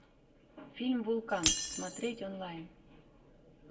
фильм вулкан смотреть онлайн